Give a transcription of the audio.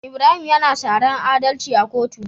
Ibrahim yAna saran adalci a kotu